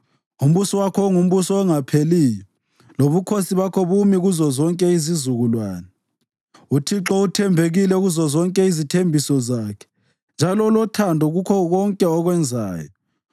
Umbuso wakho ungumbuso ongapheliyo, lobukhosi bakho bumi kuzozonke izizukulwane. UThixo uthembekile kuzozonke izithembiso zakhe njalo ulothando kukho konke akwenzayo.